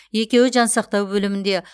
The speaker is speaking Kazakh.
екеуі жансақтау бөлімінде